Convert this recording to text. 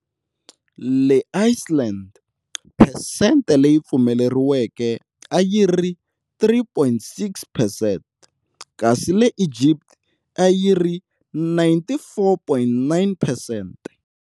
Le Iceland, phesente leyi pfumeleriweke a yi ri 3.6 percent, kasi le Egypt a yi ri 94.9 percent.